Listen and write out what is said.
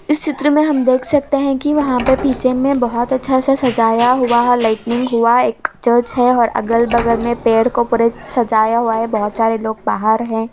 इस चित्र में हम देख सकते हैं कि वहां पे पीछे में बोहोत अच्छा सा सजाया हुआ है लाइटिंग हुआ एक चर्च है और अगल-बगल में पेड़ को पूरे सजाया हुआ है बोहोत सारे लोग बाहर हैं।